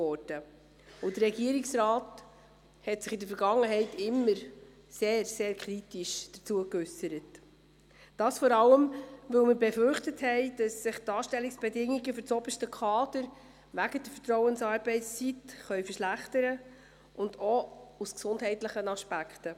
Der Regierungsrat hat sich in der Vergangenheit immer sehr, sehr kritisch dazu geäussert, vor allem, weil wir befürchtet haben, dass sich die Anstellungsbedingungen für das oberste Kader wegen der Vertrauensarbeitszeit verschlechtern könnten und auch aus gesundheitlichen Aspekten.